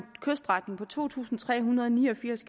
kyststrækning på to tusind tre hundrede og ni og firs